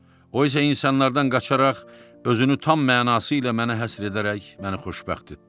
O isə insanlardan qaçaraq özünü tam mənası ilə mənə həsr edərək məni xoşbəxt etdi.